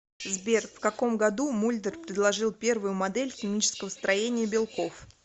сбер в каком году мульдер предложил первую модель химического строения белков